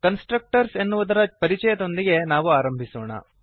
constructors ಎನ್ನುವುದರ ಪರಿಚಯದೊಂದಿಗೆ ನಾವು ಆರಂಭಿಸೋಣ